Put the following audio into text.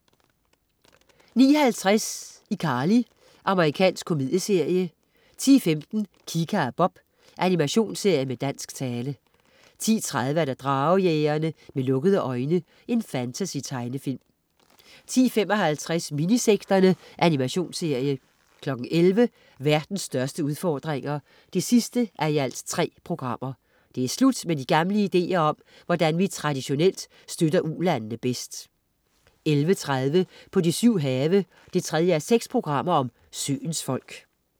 09.50 iCarly. Amerikansk komedieserie 10.15 Kika og Bob. Animationsserie med dansk tale 10.30 Dragejægerne. Med lukkede øjne. Fantasy-tegnefilm 10.55 Minisekterne. Animationsserie 11.00 Verdens største udfordringer 3:3 Det er slut med de gamle ideer om, hvordan vi traditionelt støtter ulandene bedst 11.30 På de syv have. 3:6 Søens folk